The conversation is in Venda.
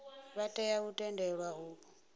vha tea u tendelwa u